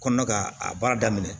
Kɔnɔna ka a baara daminɛ